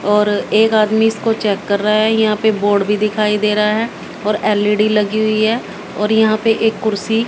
और एक आदमी इसको चेक कर रहा हैं यहां पे बोर्ड भी दिखाई दे रहा है और एल_ई_डी लगी हुई हैं और यहां पे एक कुर्सी--